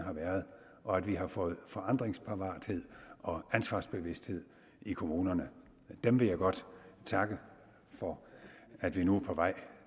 og at vi har fået forandringsparathed og ansvarsbevidsthed i kommunerne dem vil jeg godt takke for at vi nu på vej